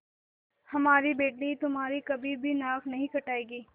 हमारी बेटी तुम्हारी कभी भी नाक नहीं कटायेगी